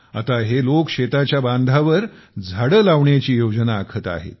आता हे लोक शेताच्या बांधावर झाडे लावण्याची योजना आखत आहेत